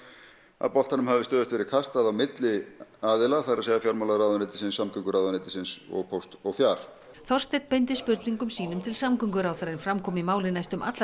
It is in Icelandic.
að boltanum hafi stöðugt verið kastað á milli aðila það er fjármálaráðuneytis samgönguráðuneytisins og póst og fjar Þorsteinn beindi spurningum sínum til samgönguráðherra en fram kom í máli næstum allra